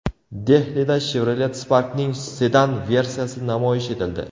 Dehlida Chevrolet Spark’ning sedan versiyasi namoyish etildi .